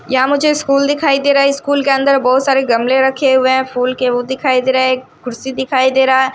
यहां मुझे स्कूल दिखाई दे रहा है स्कूल के अंदर बहुत सारे गमले रखे हुए हैं फूल के वो दिखाई दे रहा है एक कुर्सी दिखाई दे रहा है।